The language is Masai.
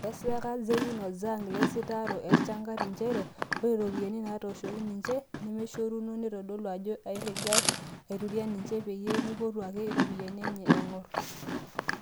Eeeseka Zeyun o Zhang ilasitaarok eshangar njere ore iropiyiani naaitoshoki ninje nemeshoruno netodolu ajoo egiray aituria ninje peyie meipotu ake iropiyiani enye naangor.